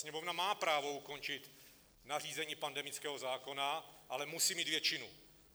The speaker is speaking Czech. Sněmovna má právo ukončit nařízení pandemického zákona, ale musí mít většinu.